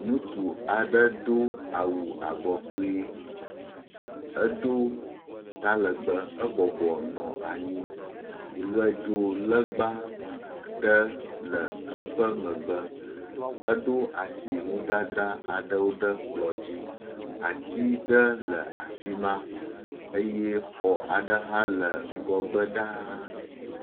Ŋutsu aɖe do awu abɔ kpui, edo talegbe, ebɔbɔ nɔ anyi, ʋedzo legba aɖe le eƒe megbe. Eɖo asi nudzadzra aɖewo ɖe kplɔ dzi, ati aɖe le afi ma eye xɔ aɖe hã le ŋgɔgbe ɖaa.